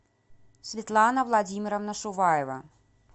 светлана владимировна шуваева